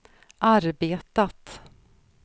arbetat